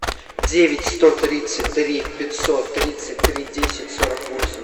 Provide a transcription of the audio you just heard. девять сто тридцать три пятьсот тридцать три десять сорок восемь